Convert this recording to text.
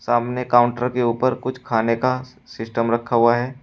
सामने काउंटर के ऊपर कुछ खाने का सिस्टम रखा हुआ है।